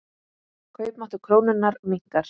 Kaupmáttur krónunnar minnkar.